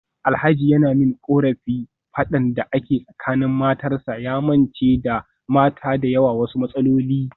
Alhaji yana min korafin fadan da ke tsakanin matarsa, ya mance da mata da yawa wasu matsaloli.